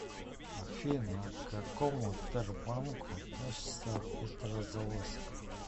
афина к какому тербанку относится петрозаводск